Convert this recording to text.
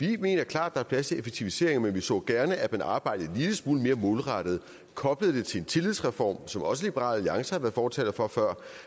vi mener klart der er plads til effektiviseringer men vi så gerne at man arbejdede en lille smule mere målrettet og koblede det til en tillidsreform som også liberal alliance har været fortalere for før